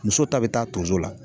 Muso ta bɛ taa tonso la.